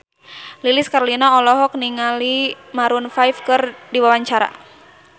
Lilis Karlina olohok ningali Maroon 5 keur diwawancara